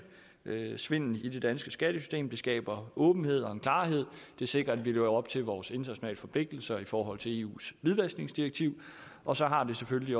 svindel i det danske skattesystem det skaber åbenhed og en klarhed det sikrer at vi lever op til vores internationale forpligtelser i forhold til eus hvidvaskningsdirektiv og så har det selvfølgelig